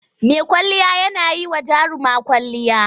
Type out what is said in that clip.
Mai kwalliya yana yi wa jaruma kwwalliya.